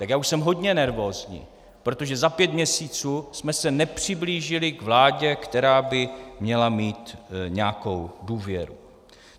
Tak já už jsem hodně nervózní, protože za pět měsíců jsme se nepřiblížili k vládě, která by měla mít nějakou důvěru.